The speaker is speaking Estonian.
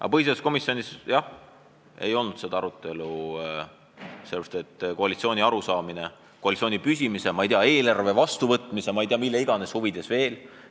Aga põhiseaduskomisjonis, jah, ei olnud seda arutelu – koalitsiooni arusaama pärast, koalitsiooni püsimise, ma ei tea, eelarve vastuvõtmise ja ma ei tea mille iganes huvides veel ...